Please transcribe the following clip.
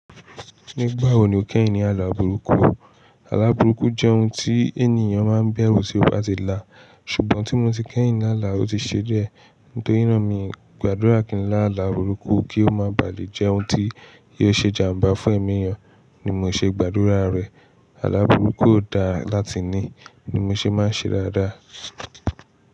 Nígbà wo ni o kẹ́yìn ní àlà burúkú? Àlà burúkú jẹ́ ohun tí ènìyàn máa ń bẹ̀rù ṣi la ti là. Ṣùgbọ́n tí mo ti kẹ́yìn láàlá, ó ti ṣe dié. Nítorí náà mi gbàdúrà kí n láàlá burúkú kí ó má bà lé jẹ́ ohun tí yóò ṣe jàmbá fún ẹ̀mí ènìyàn ni mo ṣe gbàdúrà rẹ̀. Àlà burúkú ó da láti ní, ni mo ṣe máa ń ṣe dádá.